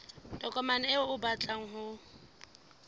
tokomane eo o batlang ho